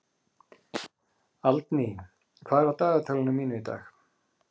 Aldný, hvað er á dagatalinu mínu í dag?